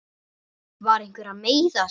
Var einhver að meiða sig?